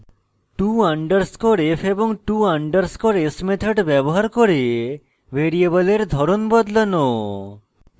to _ f to _ s methods ব্যবহার করে ভ্যারিয়েবলের ধরন বদলানো